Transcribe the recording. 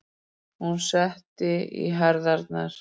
Hún setti í herðarnar.